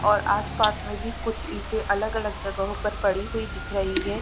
और आस-पास में भी कुछ ईंटे अलग-अलग जगहों पर पड़ी हुई दिख रही है।